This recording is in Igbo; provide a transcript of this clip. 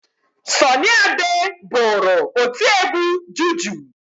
Sọnị Ade bụrụ otiegwu juju.